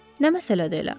Nə məsələdir elə?